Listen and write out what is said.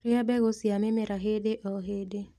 Rĩa mbegũ cia mĩmera hĩndĩ o hĩndĩ